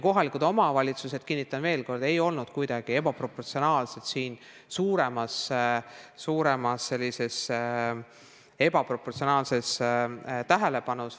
Kohalikud omavalitsused – kinnitan veel kord – ei olnud kuidagi ebaproportsionaalselt suure tähelepanu all.